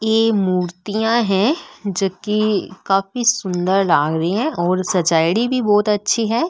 ये मूर्तियां है जेके काफी सुन्दर लाग री है और सजायेडी भी बहुत अच्छी है।